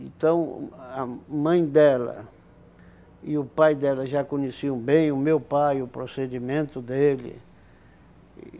Então, uh a mãe dela e o pai dela já conheciam bem o meu pai, o procedimento dele.